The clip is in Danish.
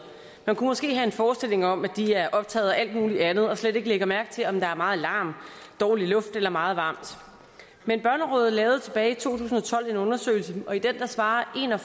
man kan måske have en forestilling om at de er optaget af alt muligt andet og slet ikke lægger mærke til om der er meget larm dårlig luft eller meget varmt men børnerådet lavede tilbage i to tusind og tolv en undersøgelse og i den svarede en og